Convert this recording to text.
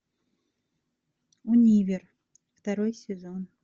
универ второй сезон